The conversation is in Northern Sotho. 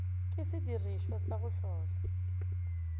ke sediripwa sa go hlohla